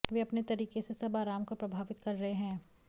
वे अपने तरीके से सब आराम को प्रभावित कर रहे हैं